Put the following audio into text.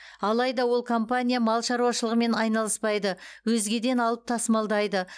алайда ол компания мал шаруашылығымен айналыспайды өзгеден алып тасымалдайды